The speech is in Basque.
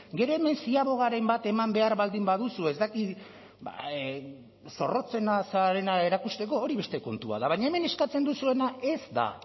gero hemen ziabogaren bat eman behar baldin baduzu ez dakit zorrotzena zarena erakusteko hori beste kontu bat da baina hemen eskatzen duzuena ez da